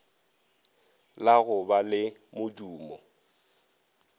la go ba le modumo